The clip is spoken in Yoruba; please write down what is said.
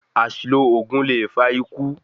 Àṣìlo oògùn lè fa ikú